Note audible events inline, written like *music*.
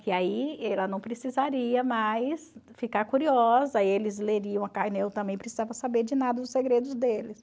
Que aí ela não precisaria mais ficar curiosa, eles leriam a *unintelligible* eu também precisava saber de nada os segredos deles.